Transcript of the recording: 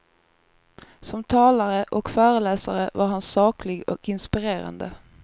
Som talare och föreläsare var han saklig och inspirerande.